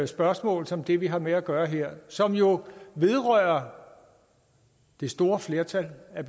spørgsmål som det vi har med at gøre her som jo vedrører det store flertal af